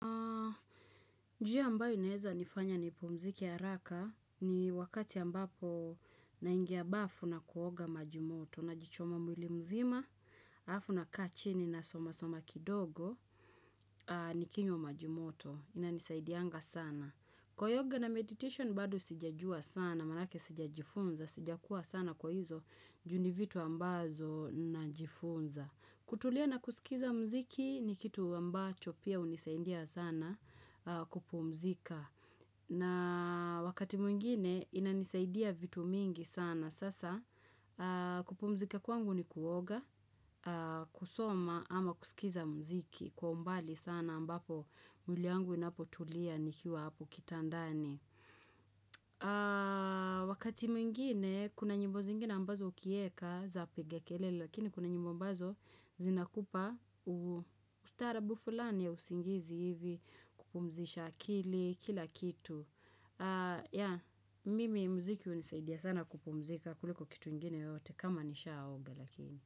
Njia ambayo inaeza nifanya nipumzike haraka, ni wakati ambapo naingia bafu na kuoga majimoto najichoma mwili mzima. Alafu nakaa chini nasoma soma kidogo. Nikinywa maji moto inanisaidianga sana. Kwa yoga na meditation badu sijajua sana manake sijajifunza sijakuwa sana kwa hizo ju ni vitu ambazo najifunza. Kutulia na kusikiza mziki ni kitu ambacho pia unisaidia sana kupumzika na wakati mwingine inanisaidia vitu mingi sana sasa kupumzika kwangu ni kuoga kusoma ama kusikiza mziki kwa mbali sana ambapo mwiliangu inapotulia nikiwa hapo kitandani. Wakati mwingine kuna nyimbo zingine ambazo ukieka zapiga kelele, Lakini kuna nyimbo ambazo zinakupa ustarabu fulani ya usingizi hivi kupumzisha akili kila kitu Mimi mziki unisaidia sana kupumzika kuliko kitu ingine yote kama nishaoga lakini.